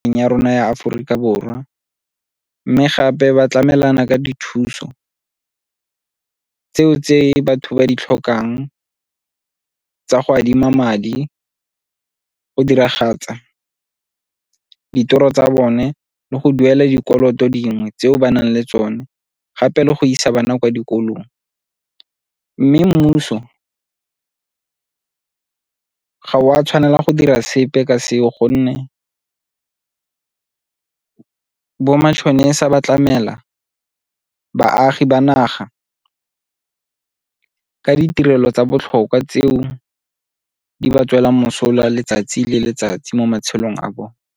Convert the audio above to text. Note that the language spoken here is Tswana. Ya rona ya Aforika Borwa mme gape ba tlamelana ka dithuso tseo tse batho ba di tlhokang tsa go adima madi, go diragatsa ditoro tsa bone le go duela dikoloto dingwe tse ba nang le tsone gape le go isa bana kwa dikolong. Mme mmuso ga o a tshwanela go dira sepe ka seo gonne bo matšhonisa ba tlamela baagi ba naga ka ditirelo tsa botlhokwa tseo di ba tswela mosola letsatsi le letsatsi mo matshelong a bone.